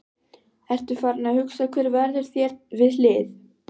Ertu farinn að hugsa hver verður þér við hlið?